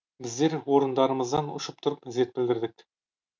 біздер орындарымыздан ұшып тұрып ізет білдірдік